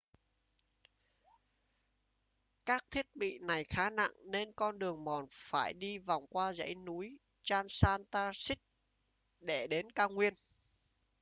các thiết bị này khá nặng nên con đường mòn phải đi vòng qua dãy núi transantarctic để đến cao nguyên